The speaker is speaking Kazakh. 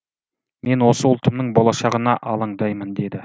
мен осы ұлтымның болашағына алаңдаймын деді